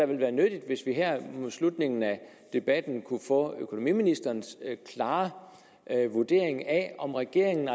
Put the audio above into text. ville være nyttigt hvis vi her mod slutningen af debatten kunne få økonomiministerens klare vurdering af om regeringen